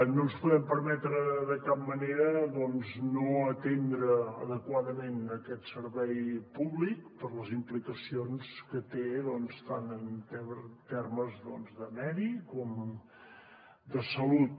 no ens podem permetre de cap manera doncs no atendre adequadament aquest servei públic per les implicacions que té doncs tant en termes de medi com de salut